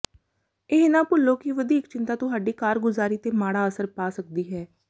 ਇਹ ਨਾ ਭੁੱਲੋ ਕਿ ਵਧੀਕ ਚਿੰਤਾ ਤੁਹਾਡੀ ਕਾਰਗੁਜ਼ਾਰੀ ਤੇ ਮਾੜਾ ਅਸਰ ਪਾ ਸਕਦੀ ਹੈ